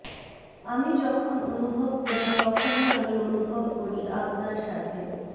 আমি যখন অনুভব করি তখনই আমি অনুভব করি আপনার সাথে